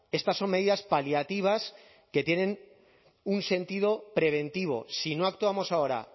estas son medidas paliativas que tienen un sentido preventivo si no actuamos ahora